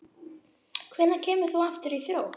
Hvenær kemur þú aftur í Þrótt?